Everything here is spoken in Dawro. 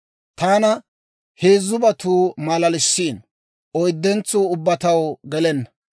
Taana heezzubatuu maalalissiino; oyddentsuu ubbaa taw gelenna.